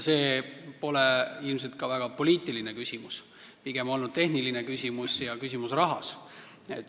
See pole ilmselt ka väga poliitiline küsimus, pigem tehniline küsimus ja rahaküsimus.